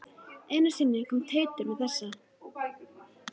Einu sinni kom Teitur með þessa